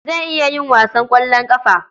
Zan iya yin wasan ƙwallon ƙafa.